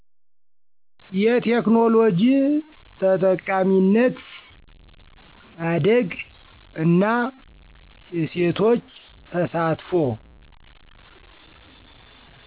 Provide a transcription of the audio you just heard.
የቴክኖሎጂ ተጠቃሚነት ማደግ እና የሴቶች ተሳትፎ